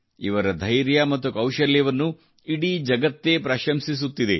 ಇವರ ಧೈರ್ಯ ಮತ್ತು ಕೌಶಲ್ಯವನ್ನು ಇಡೀ ಜಗತ್ತೇ ಪ್ರಶಂಸಿಸುತ್ತಿದೆ